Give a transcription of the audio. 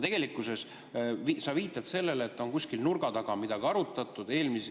Tegelikkuses sa viitad sellele, et kuskil nurga taga on midagi arutatud.